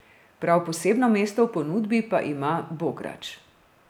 Prav posebno mesto v ponudbi pa ima bograč.